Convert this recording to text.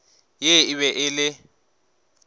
ye e be e le